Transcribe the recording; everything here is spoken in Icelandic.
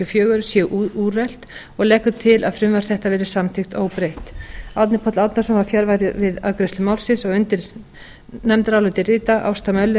og fjögur séu úrelt og leggur til að frumvarp þetta verði samþykkt óbreytt árni páll árnason var fjarverandi við afgreiðslu málsins undir nefndarálitið rita ásta